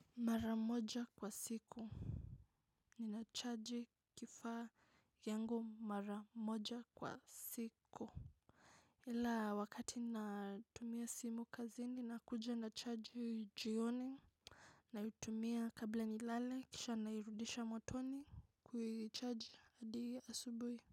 Mara moja kwa siku. Ninacharge kifaa yangu mara moja kwa siku. Ila wakati natumia simu kazini nakuja nachaji jioni. Naitumia kabla nilale kisha nairudisha motoni kuicharge hadi asubui.